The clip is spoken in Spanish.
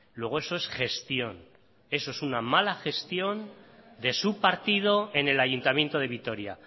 luego eso es gestión eso es una mala gestión de su partido en el ayuntamiento de vitoria